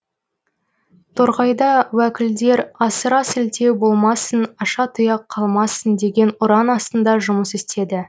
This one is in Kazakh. торғайда уәкілдер асыра сілтеу болмасын аша тұяқ қалмасын деген ұран астында жұмыс істеді